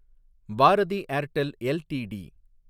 Bharathi Airtel LTD